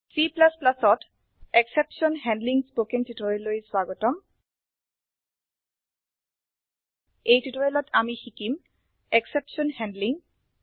Cত exception handling spoken টিউটোৰিয়েলৈ স্বাগতম এই টিউটোৰিয়েলত আমি শিকিম এক্সেপশ্যন হেণ্ডলিং